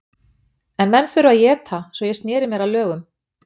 En menn þurfa að éta, svo ég sneri mér að lögum.